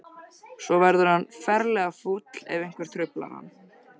Svo verður hann ferlega fúll ef einhver truflar hann.